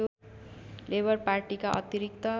labour पार्टीका अतिरिक्त